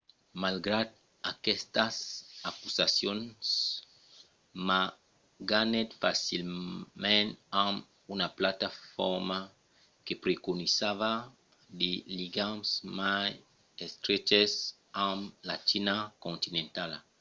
malgrat aquestas acusacions ma ganhèt facilament amb una plataforma que preconizava de ligams mai estreches amb la china continentala